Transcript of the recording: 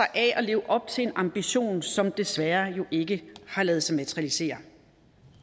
at leve op til en ambition som jo desværre ikke har ladet sig materialisere